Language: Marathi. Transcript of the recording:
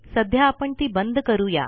सध्या आपण ती बंद करू या